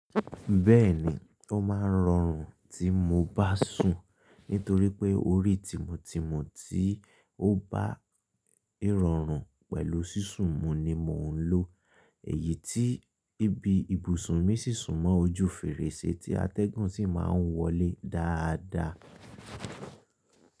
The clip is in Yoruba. Bẹ́ẹ̀ni, ó máa ń rọrùn tí mo bá sùn nítorí pé orí timu timu tí ó bá ìrọrùn pẹ̀lú sísun mu ni mò ń lò èyí tí ibi ibùsùn mi sísun mọ́ ojú fèrèsé tí atẹ́gùn sì máa ń wọlé dáadáa.